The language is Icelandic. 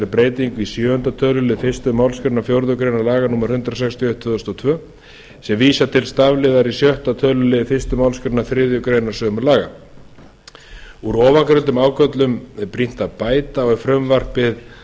breytingu í sjöunda tölulið fyrstu málsgrein fjórðu grein laganna númer hundrað sextíu og eitt tvö þúsund og tvö sem vísar til stafliðar í sjötta tölulið fyrstu málsgrein þriðju grein sömu laga úr ofangreindum ágöllum er brýnt að bæta og er frumvarpið